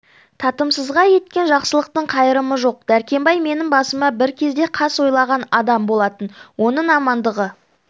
татымсызға еткен жақсылықтың қайрымы жоқ дәркембай менің басыма бір кезде қас ойлаған адам болатын оның амандығы